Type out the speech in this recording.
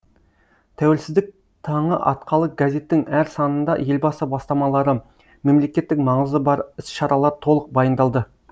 тәуелсіздік таңы атқалы газеттің әр санында елбасы бастамалары мемлекеттік маңызы бар іс шаралар толық баяндалды